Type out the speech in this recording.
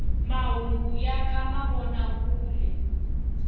mahungu ya ka mavona kule